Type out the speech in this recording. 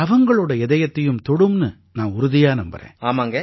இது அவங்களோட இதயத்தையும் தொடும்னு நான் உறுதியா நம்பறேன்